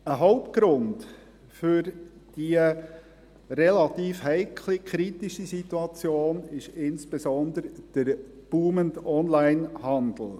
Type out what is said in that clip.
Ein Hauptgrund für diese relative heikle, kritische Situation ist insbesondere der boomende Onlinehandel;